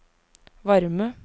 varme